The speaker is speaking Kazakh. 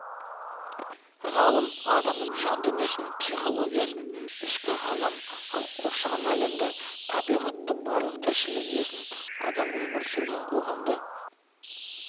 ғалым адамның жан дүниесін психологиясын ішкі ғалам ал қоршаған әлемді табиғатты барлық тіршілік иесін адам өмір сүрген қоғамды